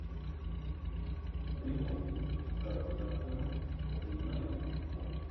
прямой эфир саутгемптона и юнайтед